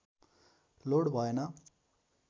load भएन